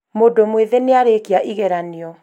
mũndũ mwĩthĩ nĩarĩkia igeranio